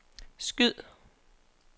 skyd